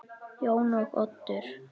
Jón og Oddur.